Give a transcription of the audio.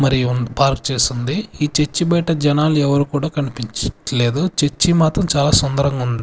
మరియు పార్క్ చేసి ఉంది ఈ చర్చి బయట జనాలు ఎవరు కూడా కనిపించట్లేదు చర్చి మాత్రం చాలా సుందరంగా ఉం--